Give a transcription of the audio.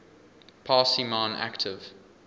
parsi man active